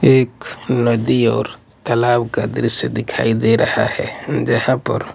एक नदी और तालाब का दृश्य दिखाई दे रहा है जहाँ पर--